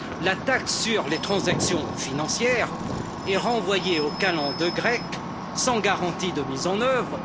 La taxe sur les transactions financières est renvoyée aux calendes grecques, sans garantie de mise en œuvre.